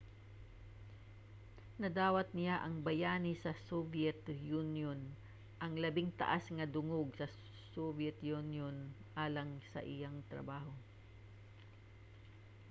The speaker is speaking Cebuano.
nadawat niya ang bayani sa soviet union ang labing taas nga dungog sa soviet union alang sa iyang trabaho